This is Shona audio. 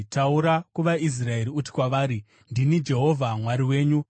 “Taura kuvaIsraeri uti kwavari, ‘Ndini Jehovha Mwari wenyu.